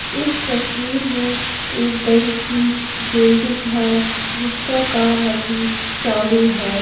इस तस्वीर में एक बड़ी सी बिल्डिंग है जिसका काम अभी चालू है।